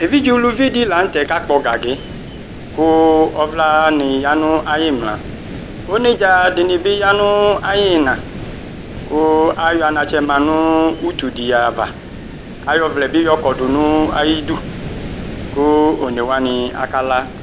evidze ʋlʋvi dila nʋtɛ kakpɔ gagi kʋ ɔvlani ya nʋ ayimla onedza dinibi ya nʋ ayina kʋ ayɔ anatsɛ ma nʋ ʋtʋdi ava kayɔvlɛbi yɔkɔdʋ nʋ ayidʋ kʋ onewani akala